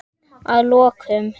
Að lokum.